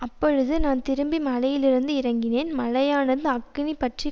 அப்பொழுது நான் திரும்பி மலையிலிருந்து இறங்கினேன் மலையானது அக்கினி பற்றி